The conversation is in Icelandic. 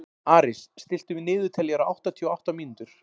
Aris, stilltu niðurteljara á áttatíu og átta mínútur.